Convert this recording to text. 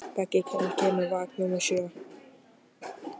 Beggi, hvenær kemur vagn númer sjö?